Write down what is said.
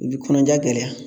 I bi kɔnɔja gɛlɛya